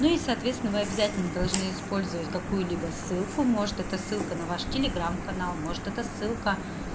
ну и соответственно вы обязательно должны использовать какую-либо ссылку может это ссылка на ваштелеграм канал может это ссылка